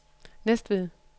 Næstved